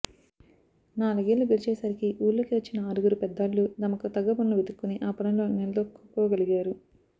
నాలుగేళ్లు గడిచేసరికి ఊళ్లోకి వచ్చిన ఆరుగురు పెద్దాళ్లూ తమకు తగ్గ పనులు వెదుక్కుని ఆ పనుల్లో నిలదొక్కుకోగలిగారు